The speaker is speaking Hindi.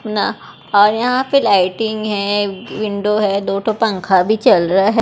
ना अ यहाँ पे लाइटिंग है विंडो है दो ठो पंखा भी चल रहा है।